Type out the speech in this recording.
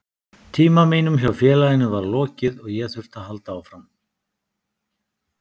Tíma mínum hjá félaginu var lokið og ég þurfti að halda áfram.